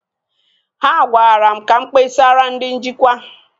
Ha gwara mụ ga kpesara ndị njikwa